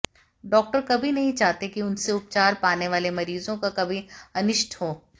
doctor कभी नहीं चाहते कि उनसे उपचार पाने वाले मरीजों का कभी अनिष्ट हो